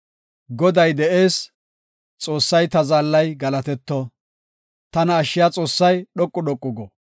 Goday de7ees! Xoossay, ta zaallay galatetto! Tana ashshiya Xoossay dhoqu dhoqu go!